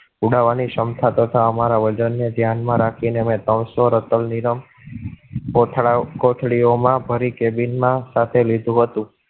ઉડાવાની ની ક્ષમતા તથા અમારા વર્ઝન ને ધ્યાન માં રાખી ને ત્રણસો ની રમ કોઠા કોથળી ઓમાં ભરી cabin માં સાથે લીધુ હતું.